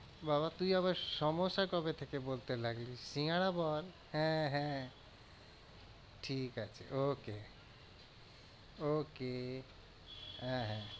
বাবা তুই আবার কবে থেকে বলতে লাগলি সিঙ্গারা বল হ্যাঁ হ্যাঁ ঠিক আছে okay okay আহ হ্যাঁ